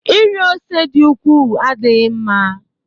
Iri ose dị ukwuu adịghị mma